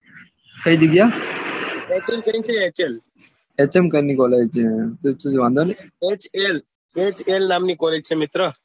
કઈ જગ્યા S M કરીને college છે વાંધો નઈ ને lhl નામની college છે મિત્ર